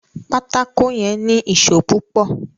pátákó yén ní Ìṣó púpò